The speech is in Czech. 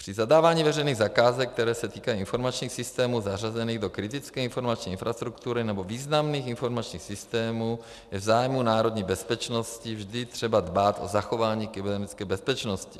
Při zadávání veřejných zakázek, které se týkají informačních systému zařazených do kritické informační infrastruktury nebo významných informačních systémů, je v zájmu národní bezpečnosti vždy třeba dbát o zachování kybernetické bezpečnosti.